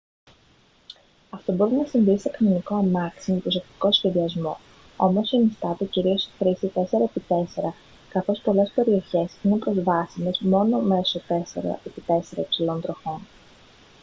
αυτό μπορεί να συμβεί σε κανονικό αμάξι με προσεκτικό σχεδιασμό όμως συνιστάται κυρίως η χρήση 4x4 καθώς πολλές περιοχές είναι προσβάσιμες μόνο μέσω 4x4 υψηλών τροχών